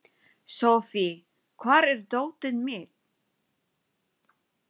Sophie, hvar er dótið mitt?